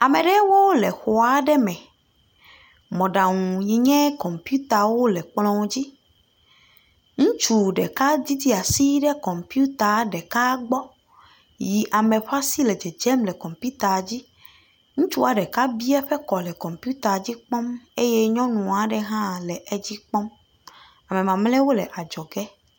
Ame aɖewo le xɔa me. Mɔɖaŋu yi nye kɔmpitawo le kplŋɔ dzi. Ŋutsu ɖeka didi asi ɖe kɔmpita ɖeka gbɔ yi ame ƒe asi le dzedzem le kɔmpitaa dzi. Ŋutsu ɖeka bi eƒe kɔ le kɔmpita la dzi kpɔm eye nyɔnu aɖe hã le edzi kpɔm. ame mamlɛwo le adzɔ ge.